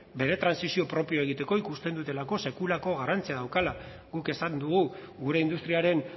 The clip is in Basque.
bere trantsizio propioa egiteko ikusten dutelako sekulako garrantzia daukala guk esan dugu gure industriaren